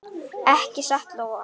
Ekki satt Lóa?